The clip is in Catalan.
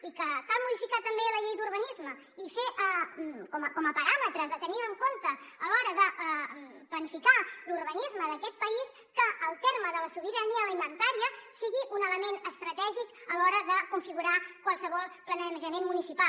i que cal modificar també la llei d’urbanisme i fer com a paràmetres a tenir en compte a l’hora de planificar l’urbanisme d’aquest país que el terme de la sobirania alimentària sigui un element estratègic a l’hora de configurar qualsevol planejament municipal